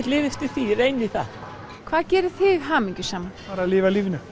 lifi eftir því reyni það hvað gerir þig hamingjusaman bara lifa lífinu